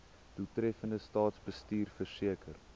doeltreffende staatsbestuur verseker